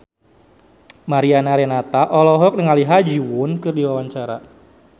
Mariana Renata olohok ningali Ha Ji Won keur diwawancara